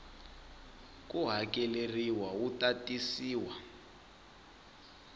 ko hakeleriwa wu ta tisiwa